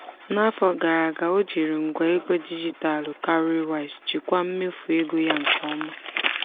n'afọ gara aga o jiri ngwa ego dijitalụ cowrywise jikwaa mmefu ego ya nke ọma.